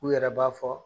U yɛrɛ b'a fɔ